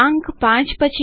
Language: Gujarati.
આંક 5